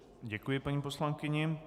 Děkuji paní poslankyni.